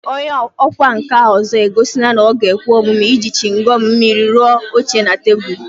Onye ọkwá nkà ọzọ egosila na ọ ga-ekwe omume iji chịngọm mmiri rụọ oche na tebụl